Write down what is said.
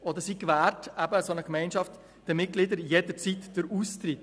Zudem gewährt eine solche Gemeinschaft ihren Mitgliedern jederzeit den Austritt.